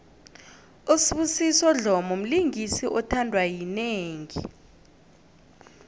usibusiso dlomo mlingisi othandwa yinengi